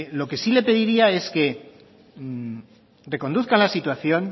lo que sí le pediría es que reconduzcan la situación